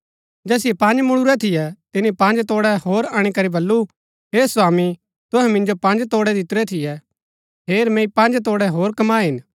ता जैसिओ पँज मुळुरै थियै तिनी पँज तोड़ै होर अणीकरी बल्लू हे स्वामी तुहै मिन्जो पँज तोड़ै दितुरै थियै हेर मैंई पँज तोड़ै होर कमाये हिन